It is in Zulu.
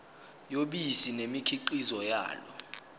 yobisi nemikhiqizo yalo